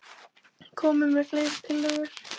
Komið með fleiri tillögur.